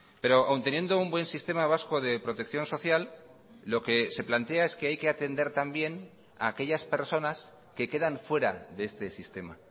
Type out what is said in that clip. pero aún teniendo un buen sistema vasco de protección social lo que se plantea es que hay que atender también a aquellas personas que quedan fuera de este sistema